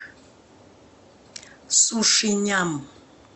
суши ням